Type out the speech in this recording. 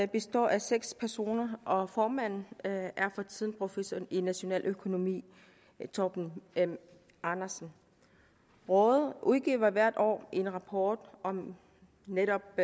består af seks personer og formanden er for tiden professor i nationaløkonomi torben m andersen rådet udgiver hvert år en rapport om netop